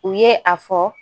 U ye a fɔ